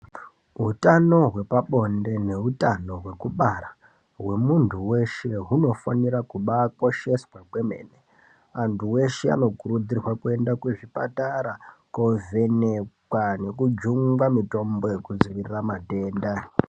Utano hwepabonde neutano hwekubara hwemuntu weshe hunofanira kubaakosheswa kwemene. Antu weshe anokurudzirwa kuenda kuzvipatara koovhenekwa nekujungwa mitombo yekudzivirira matenda.